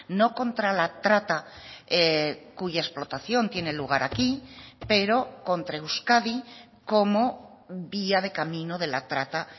no contra la trata cuya explotación tiene lugar aquí pero contra euskadi como vía de camino de la trata